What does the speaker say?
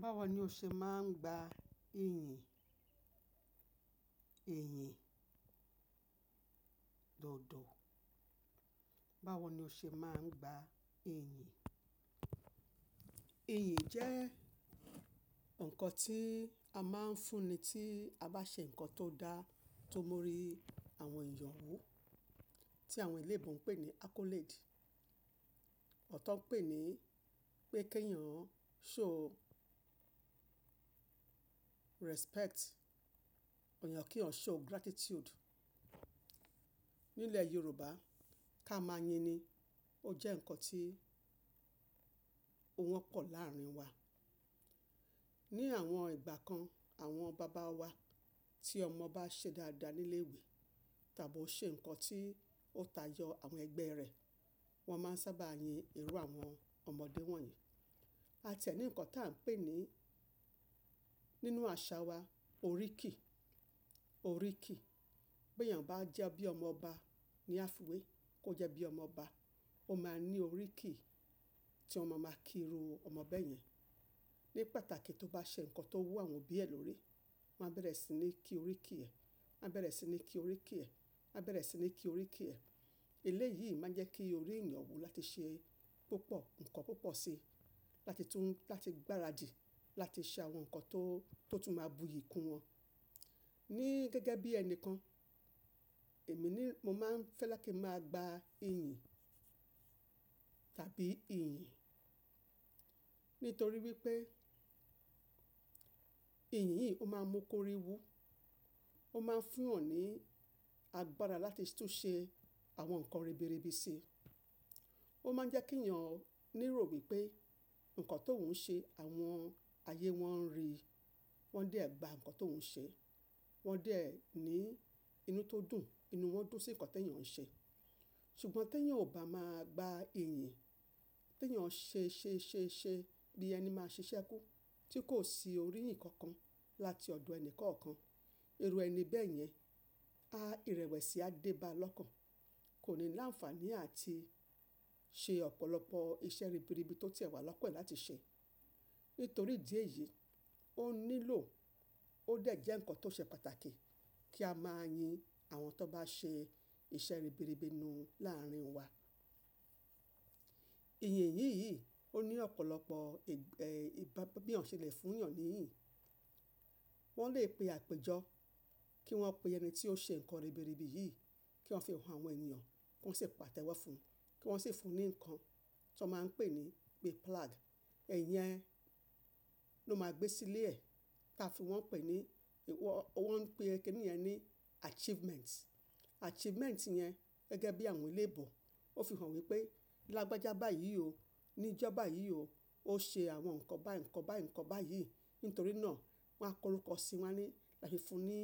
Báwo ni o ṣe máa ń gba ìyìn, iyìn dodo? Báwo ni o ṣe máa ń gba ẹ̀yìn? Ìyìn jẹ́ nǹkan tí a máa ń fún ni tí a bá ṣe nǹkan tó dá tó mú orí àwọn èèyàn wú, tí àwọn eléébo ń pè ní accolade. Ọ̀tọ̀ pè ní pé kí èèyàn ṣò respect, èèyàn kí èèyàn show gratitude. Nílẹ̀ Yorùbá, ká máa yin ni. Ó jẹ́ nǹkan tí ó wọ́pọ̀ láàrin wa. Ni àwọn ìgbà kan, àwọn bàbá wa tí ọmọ bá ṣe dáadáa ní ilé ìwé tàbí ó ṣe nǹkan tí ó tayọ àwọn ẹgbẹ́ rẹ̀, wọ́n máa ń sábà yin irú àwọn ọmọdé wọ̀nyí. A ti ẹ ní nǹkan tí à ń pè ní nínú àṣà wa, oríkì, oríkì. Bí èèyàn bá jẹ́ bí ọmọ ọba ní àfìwé, kó jẹ́ bí ọmọ ọba, ó máa ní oríkì tí ọmọ máa kí irú ọmọbẹ́ yẹn. Ni pàtàkì tí ó bá ṣe nǹkan tó mú àwọn òbí ẹ lórí, wọ́n á bẹ̀rẹ̀ sí ní kí oríkì ẹ̀, wọ́n á bẹ̀rẹ̀ sí ní kí oríkì ẹ̀, wọ́n á bẹ̀rẹ̀ sí ní kí oríkì ẹ̀. Eléyìí máa jẹ́ kí orí èèyàn wú láti ṣe púpọ̀ nǹkan púpọ̀ si, láti tún, láti gbáradì, láti ṣe àwọn nǹkan tó, tó tún máa buyì kún wọn. Ni gẹ́gẹ́ bí ẹnìkan, èmi ni mo máa ń fẹ́ láti máa gba iyìn tàbí ìyìn. Nítorí wípé ìyìn yìí ó máa ń mú kí orí wú, ó máa ń fún ọ̀ní agbára láti tún ṣe àwọn nǹkan ribiribi si. Ó máa ń jẹ́ kí èèyàn ní ìrò wí pé nǹkan tóun ṣe, àwọn ayé wọ́n ń rí i, wọ́n dẹ̀ gba nǹkan tóun ṣe. Wọ́n dẹ̀ ní inú tó dùn, inú wọn dùn sí nǹkan tí èèyàn ń ṣe. Ṣùgbọ́n tí èèyàn ò bá máa gba iyìn, tí èèyàn ṣe ṣe ṣe ṣe bí ẹni máa ṣiṣẹ́ kú tí kò sí orí ìyìn kankan láti ọ̀dọ̀ ẹni kankan, irú ẹni bẹ́ẹ̀ yẹn á ìrẹ̀wẹ̀sì, á dé bá lọ́kàn. Kò ní láǹfààní àti ṣe ọ̀pọ̀lọpọ̀ iṣẹ́ ribiribi tó tiẹ̀ wà l’ọ́kàn ẹ láti ṣe. Nítorí ìdí èyí, ó nílò, ó dẹ̀ jẹ́ nǹkan tó ṣe pàtàkì kí a máa yin àwọn tó bá ṣe iṣẹ́ ribiribi nú láàrin wa. Ìyìn yìn yìí, ó ní ọ̀pọ̀lọpọ̀ ẹ̀, bí, bí ọ̀ṣèlẹ̀ fún èèyàn níyìn. Wọ́n lè pe àpéjọ kí wọ́n pe ẹni tí ó ṣe nǹkan ribiribi yìí, kí wọ́n fi hàn àwọn èèyàn kí wọ́n sì pàtẹ́wọ́ fún un, kí wọ́n sì fún un ní nǹkan tí wọ́n máa ń pè ní pé plaque. Ìyẹn ló máa gbé sílé ẹ̀ tí a fi wọ́n pè ní, ìwọ, wọ́n pè kíni yẹn ní achievement. Achievement yẹn gẹ́gẹ́ bí àwọn eléébo, ó fi hàn wípé lágbájá báyìí o, ní ìjọba yìí o, ó ṣe àwọn nǹkan bá, nǹkan bá, nǹkan báyìí. Nítorí náà, wọ́n á korúkọ sí i wọ́n á ní láti fún un ní